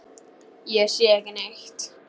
Ég sé ekki neitt.